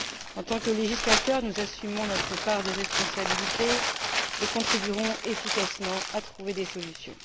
En tant que législateurs, nous assumons notre part de responsabilité et contribuerons efficacement à trouver des solutions.